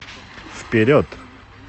вперед